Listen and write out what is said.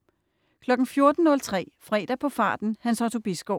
14.03 Fredag på farten. Hans Otto Bisgaard